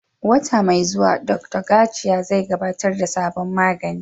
Wata mai zuwa, Dr. Garcia zai gabatar da sabon magani